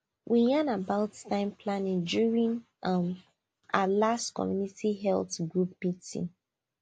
we yan about time planning during um our last community health group meeting